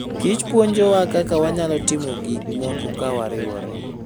kich puonjowa kaka wanyalo timo gik moko ka wariwore.